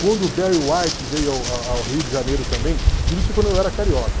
Quando o Barry White veio ao a ao Rio de Janeiro também, tudo isso quando eu era carioca.